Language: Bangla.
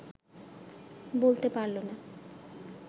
বলতে পারল না